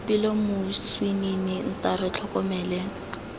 boipelo moswinini nta re tlhokomele